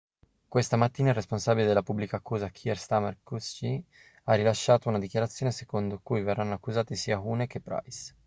questa mattina il responsabile della pubblica accusa kier starmer qc ha rilasciato una dichiarazione secondo cui verranno accusati sia huhne che pryce